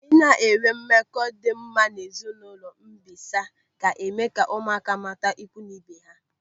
Ịna enwee mmekọ dị mma n'ezinụlọ mbịsa ga-eme ka ụmụaka mata ikwu na ibe ha.